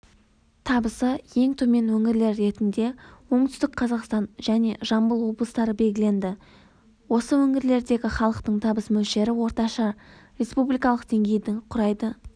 табысы ең төмен өңірлер ретінде оңтүстік қазақстан және жамбыл облыстары белгіленді осы өңірлердегі халықтың табыс мөлшері орташа республикалық деңгейдің құрайды